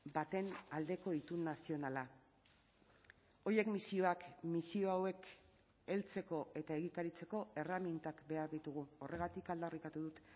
baten aldeko itun nazionala horiek misioak misio hauek heltzeko eta egikaritzeko erremintak behar ditugu horregatik aldarrikatu dut